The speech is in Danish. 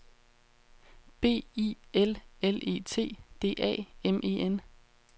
B I L L E T D A M E N